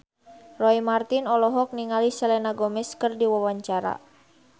Roy Marten olohok ningali Selena Gomez keur diwawancara